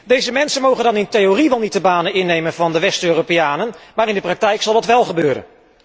Deze mensen mogen dan in theorie wel niet de banen innemen van de West Europeanen, maar in de praktijk zal dat wel gebeuren.